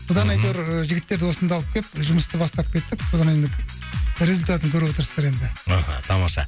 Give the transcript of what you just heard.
содан мхм әйтеуір жігіттерді осында алып келіп жұмысты бастап кеттік содан енді результатын көріп отырсыздар енді мхм тамаша